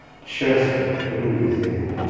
сейчас я покурю и зайду